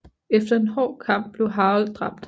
Efter en hård kamp blev Harold dræbt